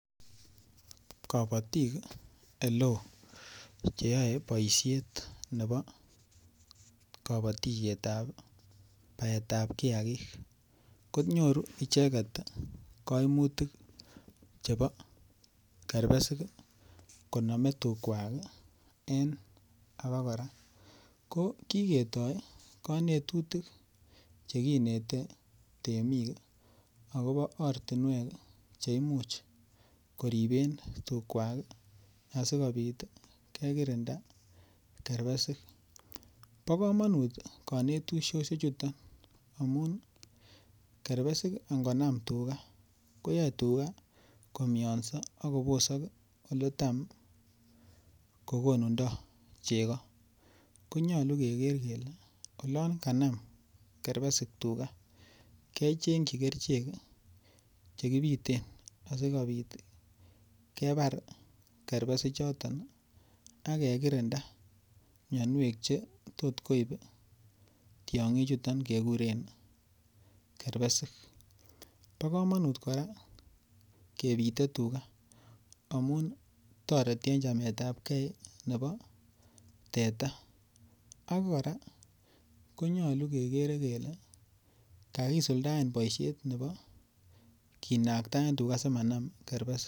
Kobotik ole oo che yoe boisiet nebo kobotisiet ab baetab kiyagik ko nyoru icheget koimutik chebo kerbesik konome tukwak en aba kora. Ko kigetoi konetutik che kinete temik agobo ortinwek che imuche koriben tukwak asikobit kekirinda kerbesik. Bo komonut konetisoshechuton amun kerbesik angonam tuga koyoe tuga komianso ak kobosok ole tam kogonundo chego. Konyole keger kole olon kanam kerbesik tuga kechengoi kerichek che kibiten asikobit kibar kerbesik choto ak ke kirinda mianwek che tot koib tiong'ik chuton keguren kerbesik. Bo komonut kora kebite tuga amun toreti en chamet ab kee nebo teta, ak kora konyolu ke kere kele kagisuldaen boisiet nebo kinagtaen tuga simanam kerbesik.